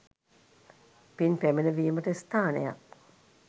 පින් පැමිණවීමට ස්ථානයක්